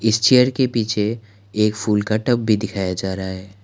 इस चेयर के पीछे एक फूल का टब भी दिखाया जा रहा है।